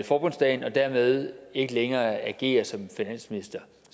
forbundsdagen og dermed ikke længere agerer som finansminister